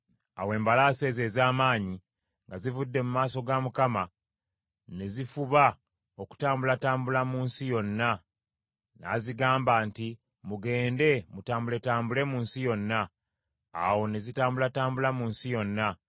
Awo embalaasi ezo ez’amaanyi nga zivudde mu maaso ga Mukama , ne zifuba okutambulatambula mu nsi yonna; n’azigamba nti, “Mugende, mutambuletambule mu nsi yonna.” Awo ne zitambulatambula mu nsi yonna.